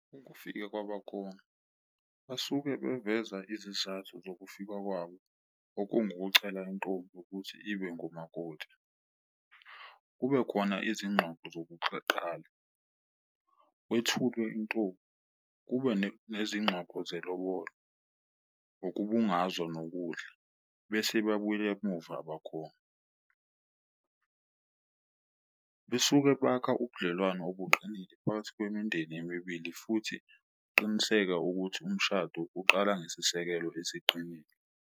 Ukufika kwabakongi basuke beveza izizathu zokufika kwabo, okungukucela intombi ukuthi ibe ngumakoti, kube khona izingxoxo zokuqala, kwethulwe intombi, kube nezingxoxo zelobolo, ngokubungazwa nokudla. Bese babuyele emuva abakhona besuke bakha ubudlelwano obuqinile phakathi kwemindeni emibili futhi ukuqiniseka ukuthi umshado uqala ngesisekelo esiqinile.